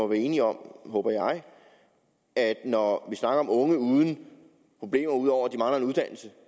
vi er enige om at når vi snakker om unge uden problemer ud over at de mangler en uddannelse